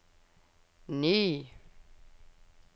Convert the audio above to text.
ny